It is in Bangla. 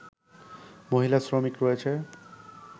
মহিলা শ্রমিক রয়েছে